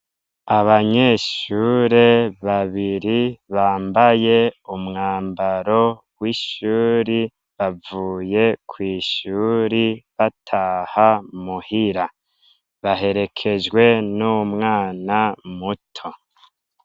Abanyeshure babiri bambaye umwambaro w'ishure, bavuye kw'ishure bataha muhira. Baherekejwe n'umwana muto.